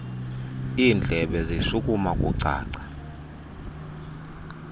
indlebe zishukuma kucaca